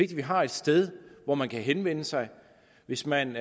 vi har et sted hvor man kan henvende sig hvis man